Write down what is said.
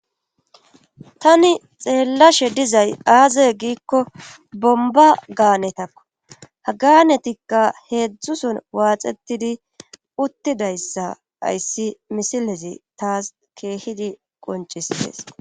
tani xeellashe dizay aazey giikko bomba gaanetakko ha gaanetikka heedzdzuson waaxetidi uttidayssa hayssi misilezi taas keehidi qoncishes